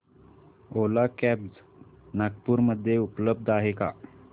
ओला cabs Nagpur मध्ये उपलब्ध आहे का